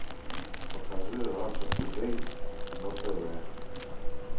покажи раша тудей на тв